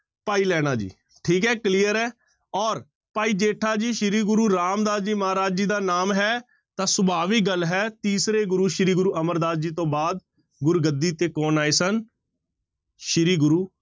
ਭਾਈ ਲਹਿਣਾ ਜੀ, ਠੀਕ ਹੈ clear ਹੈ ਔਰ ਭਾਈ ਜੇਠਾ ਜੀ ਸ੍ਰੀ ਗੁਰੂ ਰਾਮਦਾਸ ਜੀ ਮਹਾਰਾਜ ਜੀ ਦਾ ਨਾਮ ਹੈ ਤਾਂ ਸੁਭਾਵਿਕ ਗੱਲ ਹੈ ਤੀਸਰੇ ਗੁਰੂ ਸ੍ਰੀ ਗੁਰੂ ਅਮਰਦਾਸ ਜੀ ਤੋਂ ਬਾਅਦ ਗੁਰਗੱਦੀ ਤੇ ਕੌਣ ਆਏ ਸਨ ਸ੍ਰੀ ਗੁਰੂ